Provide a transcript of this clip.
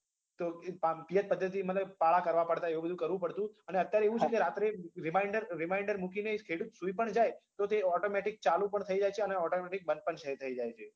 તો પા પિયત પદ્ધતિ મતલબ પાળા કરવા પડતા એવું બધું કરવું પડતું અને અત્યારે એવું છે કે રાત્રે reminder reminder મૂકીને ખેડૂત સુઈ પણ જાય તો તે automatic ચાલુ પણ થઇ જાય છે અને automatic બંધ પણ થઇ જાય છે